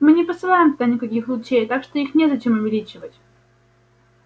мы не посылаем туда никаких лучей так что их незачем увеличивать